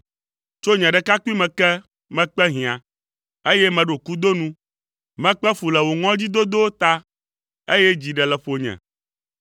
Tso nye ɖekakpuime ke, mekpe hiã, eye meɖo kudo nu, mekpe fu le wò ŋɔdzidodowo ta, eye dzi ɖe le ƒonye.